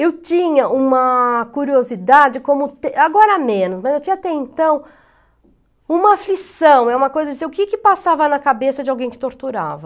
Eu tinha uma curiosidade como, agora menos, né, eu tinha até então uma aflição, é uma coisa assim, o que que passava na cabeça de alguém que torturava?